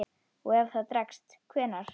Og ef það dregst. hvenær?